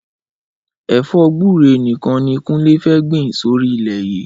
Ẹfọ gbùré nikàn ni Kunle fẹ́ gbin sóri ilẹ yi